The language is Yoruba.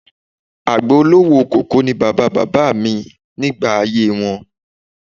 Àgbẹ̀ olówó koko ni bàbá bàbá mi nígbà ayé wọn